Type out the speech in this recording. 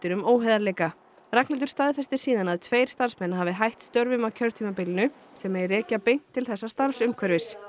um óheiðarleika Ragnhildur staðfestir síðan að tveir starfsmenn hafi hætt störfum á kjörtímabilinu sem megi rekja beint til þessa starfsumhverfis